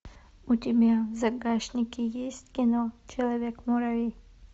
у тебя в загашнике есть кино человек муравей